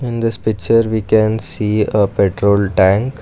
In this picture we can see a petrol tank.